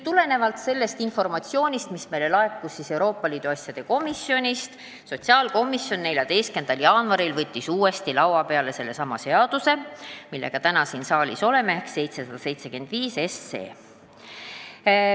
Tulenevalt sellest informatsioonist, mis meile laekus Euroopa Liidu asjade komisjonist, võttis sotsiaalkomisjon 14. jaanuaril uuesti laua peale sellesama eelnõu, millega me täna siin saalis oleme, ehk siis 775 SE.